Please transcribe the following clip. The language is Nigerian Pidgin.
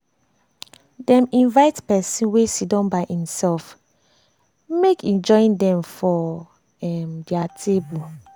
dem invite person wey siddon by imself imself make e join dem for um dia um table